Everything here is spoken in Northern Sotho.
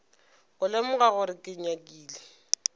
go lemoga gore ke nyakile